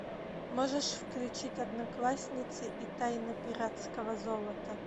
можешь включить одноклассницы и тайна пиратского золота